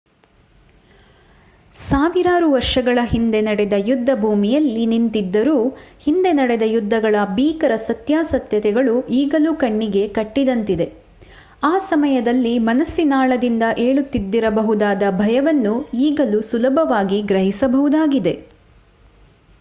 ಸಾವಿರಾರು ವರ್ಷಗಳ ಹಿಂದೆ ನಡೆದ ಯುದ್ಧಭೂಮಿಯಲ್ಲಿ ನಿಂತಿದ್ದರೂ ಹಿಂದೆ ನಡೆದ ಯುದ್ಧಗಳ ಭೀಕರ ಸತ್ಯಾಸತ್ಯತೆಗಳು ಈಗಲೂ ಕಣ್ಣಿಗೆ ಕಟ್ಟಿದಂತಿದೆ ಆ ಸಮಯದಲ್ಲಿ ಮನಸ್ಸಿನಾಳದಿಂದ ಏಳುತ್ತಿದ್ದಿರಬಹುದಾದ ಭಯವನ್ನು ಈಗಲೂ ಸುಲಭವಾಗಿ ಗ್ರಹಿಸಬಹುದಾಗಿದೆ